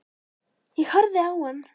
Ég horfði á hann.